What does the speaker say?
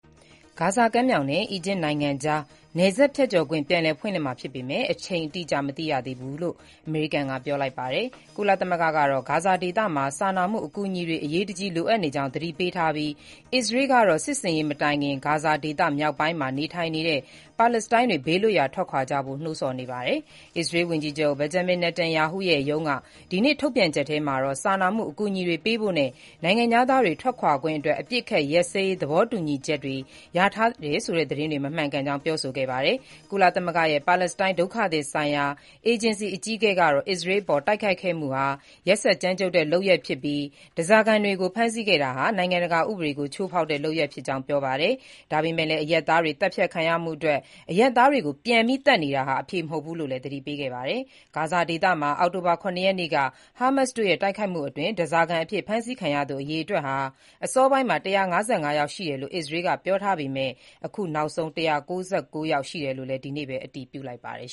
ဂါဇာကမ်းမြှောင်နဲ့ အီဂျစ်နိုင်ငံကြား နယ်စပ်ဖြတ်ခွင့် ပြန်လည်ဖွင့်လှစ်မှာ ဖြစ်ပေမယ့် အချိန်အတိအကျ မသိရသေးကြောင်း အမေရိကန်က ပြောလိုက်ပါတယ်။ ကုလသမဂ္ဂကတော့ ဂါဇာဒေသမှာ စာနာမှုအကူအညီတွေ အရေးတကြီး လိုအပ်နေကြောင်း သတိပေးထားပြီး၊ အစ္စရေးကတော့ စစ်ဆင်ရေး မတိုင်ခင် ဂါဇာဒေသ မြောက်ပိုင်းမှာ နေထိုင်နေတဲ့ ပါလက်စတိုင်းတွေ ဘေးလွတ်ရာ ထွက်ခွာကြဖို့ နှိုးဆော်နေပါတယ်။ အစ္စရေးဝန်ကြီးချုပ် Benjamin Netanyahu ရဲ့ ရုံးက ဒီနေ့ ထုတ်ပြန်ချက်ထဲမှာတော့ စာနာမှုအကူအညီတွေ ပေးဖို့နဲ့ နိုင်ငံခြားသားတွေ ထွက်ခွာခွင့်အတွက် အပစ်အခတ်ရပ်စဲရေး သဘောတူညီချက် ရထားတယ်ဆိုတဲ့ သတင်းတွေ မမှန်ကြောင်း ပြောဆိုခဲ့တာပါ။ ကုလသမဂ္ဂရဲ့ ပါလက်စတိုင်း ဒုက္ခသည်ဆိုင်ရာ အေဂျင်စီ အကြီးအကဲကတော့ အစ္စရေးအပေါ် တိုက်ခိုက်ခဲ့မှုဟာ ကြမ်းကြုတ်ရက်စက်တဲ့ လုပ်ရပ်ဖြစ်ပြီး၊ ဓားစာခံတွေကို ဖမ်းဆီးခဲ့တာဟာ နိုင်ငံတကာ ဥပဒေကို ချိုးဖောက်တဲ့လုပ်ရပ်ဖြစ်ကြောင်း ပြောပါတယ်။ ဒါပေမဲ့လည်း အရပ်သားတွေ သတ်ဖြတ်ခံရမှုအတွက် အရပ်သားတွေကို ပြန်သတ်နေတာဟာ အဖြေမဟုတ်ဘူးလို့လည်း သတိပေးခဲ့တာပါ။ ဂါဇာဒေသမှာ အောက်တိုဘာလ ၇ ရက်နေ့က ဟာမတ်စ်တို့ရဲ့ တိုက်ခိုက်မှုအတွင်း ဓားစာခံအဖြစ် ဖမ်းဆီးခံရသူ အရေအတွက်ဟာ အစောပိုင်းမှာ ၁၅၅ ယောက် ရှိတယ်လို့ အစ္စရေးက ပြောထားပေမယ့် အခုနောက်ဆုံး ၁၉၉ ယောက် ရှိတယ်လို့လည်း ဒီနေ့ပဲ အတည်ပြုလိုက်ပါတယ်